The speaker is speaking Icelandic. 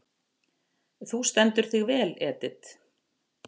Þú stendur þig vel, Edit!